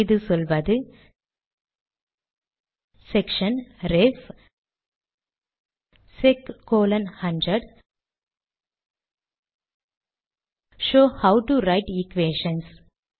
இது சொல்வது section ref sec 100 shows how to write equations